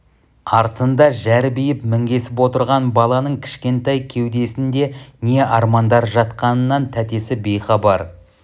артында жәрбиіп міңгесіп отырған баланың кішкентай кеудесінде не армандар жатқанынан тәтесі бейхабар